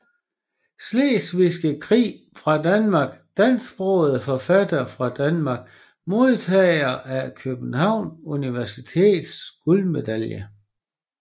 Slesvigske Krig fra Danmark Dansksprogede forfattere fra Danmark Modtagere af Københavns Universitets guldmedalje